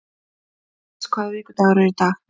Ernst, hvaða vikudagur er í dag?